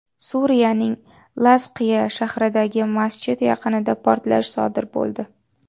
Suriyaning Lazqiya shahridagi masjid yaqinida portlash sodir bo‘ldi.